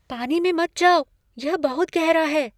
पानी में मत जाओ। यह बहुत गहरा है!